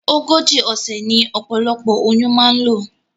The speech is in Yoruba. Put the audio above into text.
Ogójì òsè ní opolopo oyún ma n lò